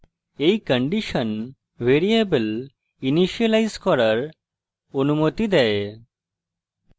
এই condition variable initialise করার অনুমতি দেয়